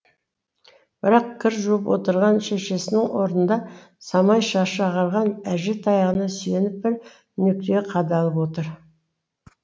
бірақ кір жуып отырған шешесінің орнында самай шашы ағарған әже таяғына сүйеніп бір нүктеге қадалып отыр